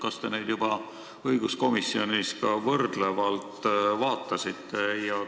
Kas te neid õiguskomisjonis ka võrdlevalt vaatasite?